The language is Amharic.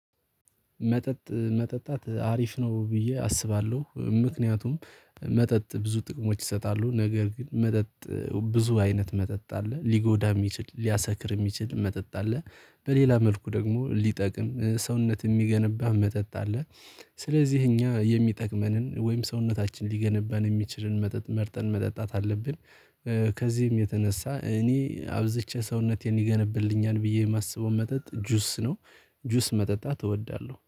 መጠጥ መጠጣት አሪፍ ነው ብዬ አስባለሁ ምክንያቱም መጠጥ ብዙ ጥቅሞች ይሰጣሉ ነገር ግን መጠጥ ብዙ አይነት መጠጥ አለ ሊጎዳም የሚችል ሊያሰክርም የሚችል መጠጥ አለ። በሌላ መልኩ ደግሞ ሊጠቅም ሰውነት የሚገነባ መጠጥ አለ። ስለዚህ እኛ የሚጠቅመንን ወይም ሰውነታችን ሊገነባን የሚችልን መጠጥ መርጠን መጠጣት አለብን። ከዚህም የተነሳ እኔ አብዝቼ ሰውነቴን ይገነባልኛል ብዬ የማስበው መጠጥ ጁስ ነው። ጁስ መጠጣት እወዳለሁ